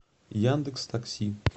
яндекстакси